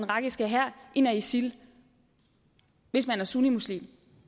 irakiske hær end af isil hvis man er sunnimuslim